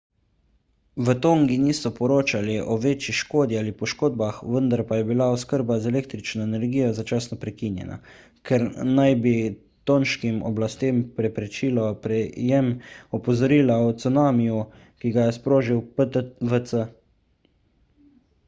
v tongi niso poročali o večji škodi ali poškodbah vendar pa je bila oskrba z električno energijo začasno prekinjena kar naj bi tonškim oblastem preprečilo prejem opozorila o cunamiju ki ga je sprožil ptwc